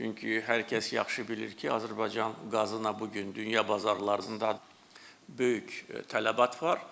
Çünki hər kəs yaxşı bilir ki, Azərbaycan qazına bu gün dünya bazarlarında böyük tələbat var.